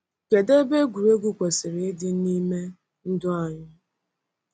Kedu ebe egwuregwu kwesịrị ịdị n’ime ndụ anyị?